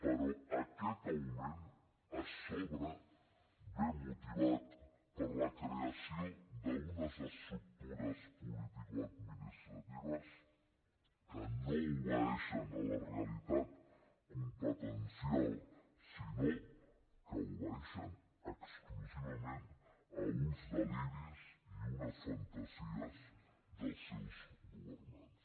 però aquest augment a sobre ve motivat per la creació d’unes estructures politicoadministratives que no obeeixen a la realitat competencial sinó que obeeixen exclusivament a uns deliris i unes fantasies dels seus governants